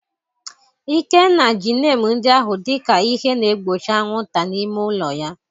Ikenna ji neem ndị ahụ dị ka ihe na-egbochi anwụnta n'ime ụlọ ya.